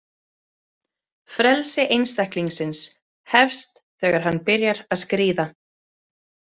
Frelsi einstaklingsins Hefst þegar hann byrjar að skríða.